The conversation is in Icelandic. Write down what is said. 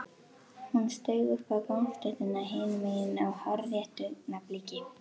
Hún steig upp á gangstéttina hinum megin á hárréttu augnabliki.